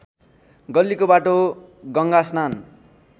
गल्लीको बाटो गङ्गास्नान